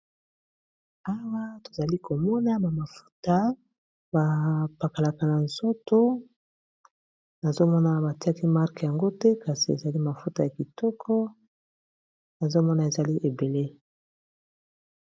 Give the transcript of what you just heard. Awa tozali komona ba mafuta ba pakolaka na nzoto nazomona batiaki marque yango te kasi ezali mafuta ya kitoko nazomona ezali ebele.